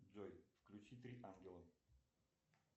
джой включи три ангела